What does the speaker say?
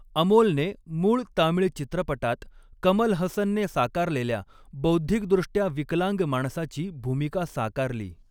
अमोलने मूळ तामिळ चित्रपटात कमल हसनने साकारलेल्या बौद्धिकदृष्ट्या विकलांग माणसाची भूमिका साकारली.